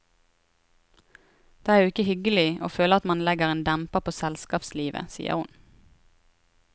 Det er jo ikke hyggelig å føle at man legger en demper på selskapslivet, sier hun.